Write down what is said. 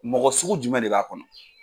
Mɔgɔ sugu jumɛn de b'a kɔnɔ.